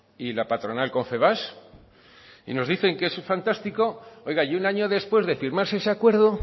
y la patronal confebask y nos dicen que ese fantástico oiga y un año después de firmarse ese acuerdo